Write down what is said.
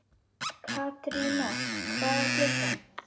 Katerína, hvað er klukkan?